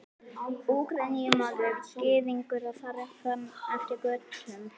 Úkraínumaður, Gyðingur og þar fram eftir götum.